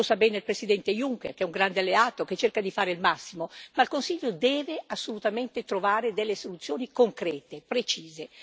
Lo sa bene il Presidente Juncker, che è un grande alleato, che cerca di fare il massimo, ma il Consiglio deve assolutamente trovare delle soluzioni concrete e precise.